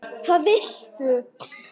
Hvað viltu?